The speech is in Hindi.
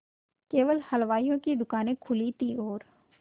केवल हलवाइयों की दूकानें खुली थी और